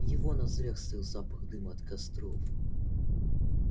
в его ноздрях стоял запах дыма от костров